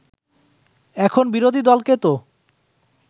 এখন বিরোধী দলকে তো